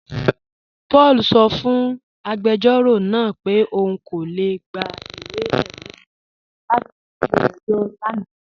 Paul sọ́ fún agbẹjọro náà pẹ̀ ọun kò lè gbà ìwé-ẹ̀rí latí ilẹ̀-ẹ̀jọ̀ lánà